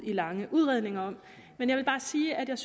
lange udredninger om jeg vil bare sige at jeg